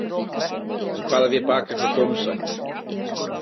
En hvað ef ég baka eitthvað gómsætt?